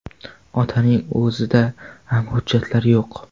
Otaning o‘zida ham hujjatlar yo‘q.